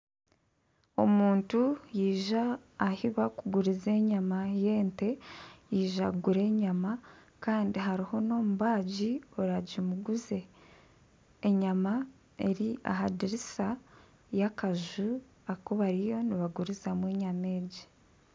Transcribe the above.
Omuntu yaija ahu bakuguriza enyama y'ente. Yaija kugura enyama kandi hariho n'omubaagi oragimuguze. Enyama eri aha dirisa y'akaju aku bariyo nibagurizamu enyama egi.